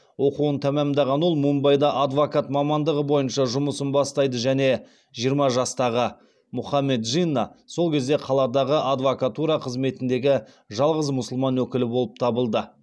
оқуын тамамдаған ол мумбайда адвокат мамандығы бойынша жұмысын бастайды және жиырма жастағы мұхаммед джинна сол кезде қаладағы адвокатура қызметіндегі жалғыз мұсылман өкілі болып табылды